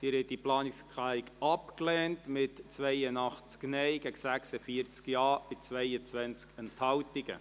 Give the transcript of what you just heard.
Sie haben diese Planungserklärung abgelehnt, mit 82 Nein- gegen 46 Ja-Stimmen bei 22 Enthaltungen.